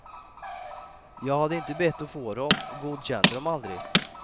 Jag hade inte bett att få dem och godkände dem aldrig.